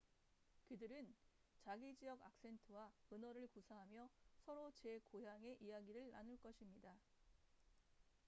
그들은 자기 지역 악센트와 은어를 구사하며 서로 제 고향의 이야기를 나눌 것입니다